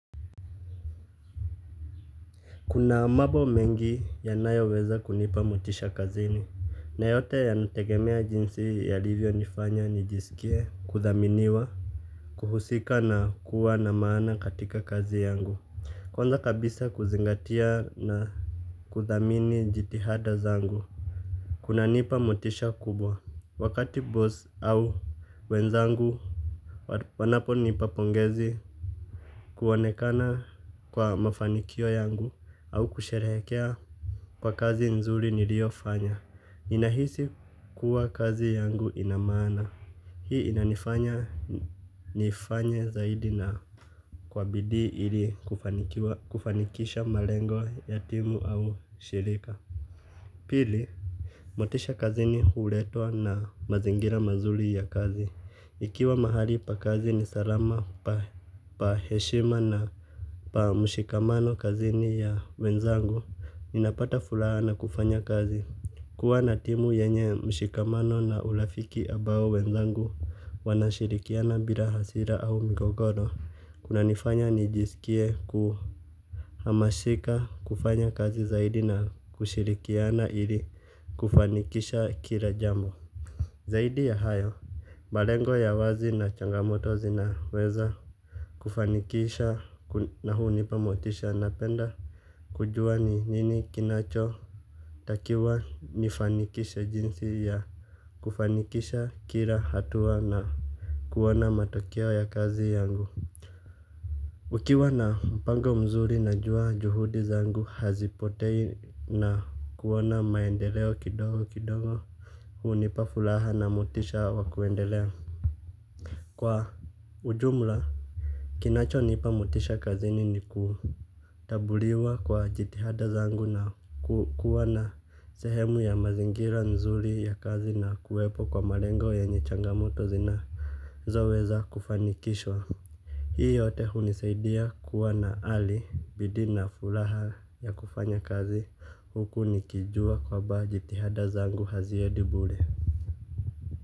Kuna mambo mengi yanayoweza kunipa motisha kazini. Na yote yanategemea jinsi yalivyonifanya nijisikie kuthaminiwa. Kuhusika na kuwa na maana katika kazi yangu. Kwanza kabisa kuzingatia na kuthamini jitihada zangu kunanipa motisha kubwa. Wakati boss au wenzangu wanaponipa pongezi kuonekana kwa mafanikio yangu au kusherehekea kwa kazi nzuri niliofanya. Ninahisi kuwa kazi yangu ina maana. Hii inanifanya nifanye zaidi na kwa bidii ili kufanikisha malengo ya timu au shirika. Pili, motisha kazini huletwa na mazingira mazuri ya kazi. Ikiwa mahali pa kazi ni salama pa heshima na pa mshikamano kazini ya wenzangu, ninapata furaha na kufanya kazi. Kuwa na timu yenye mshikamano na urafiki ambao wenzangu wanashirikiana bila hasira au mgogoro kunanifanya nijisikie kuhamashika kufanya kazi zaidi na kushirikiana ili kufanikisha kila jambo. Zaidi ya hayo malengo ya wazi na changamoto zinaweza kufanikisha na hunipa motisha, napenda kujua ni nini kinachotakiwa nifanikisha jinsi ya kufanikisha kila hatua na kuona matokeo ya kazi yangu. Ukiwa na mpango mzuri najua juhudi zangu hazipotei na kuona maendeleo kidogo kidogo. Hunipa furaha na motisha wa kuendelea. Kwa ujumla kinachonipa motisha kazini ni kutambuliwa kwa jitihada zangu na kuwa na sehemu ya mazingira nzuri ya kazi na kuwepo kwa malengo yenye changamoto zinazoweza kufanikishwa. Hii yote hunisaidia kuwa na ari bidii na furaha ya kufanya kazi huku nikijua kwamba jitihada zangu haziendi bure.